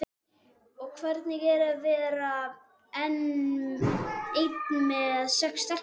Og hvernig er að vera einn með sex stelpum?